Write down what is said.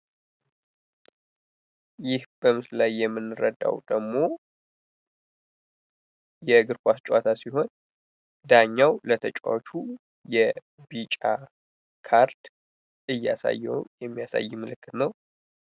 ይህ በምስሉ ላይ የምንረዳዉ ደግሞ የእግር ኳስ ጨዋታ ሲሆን ዳኛዉ ለተጫዋቹ የቢጫ ካርድ እያሳየዉ የሚያሳይበት ምልክት ነዉ።